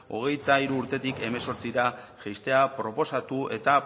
hogeita hiru urtetik hemezortzira jaistea proposatu eta